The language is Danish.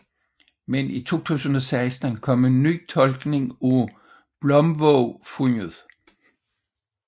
Men i 2016 kom en ny tolkning af Blomvågfundet